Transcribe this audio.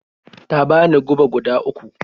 Ta bani goba guda uku.